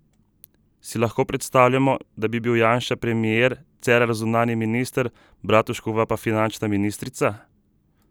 Si lahko predstavljamo, da bi bil Janša premier, Cerar zunanji minister, Bratuškova pa finančna ministrica?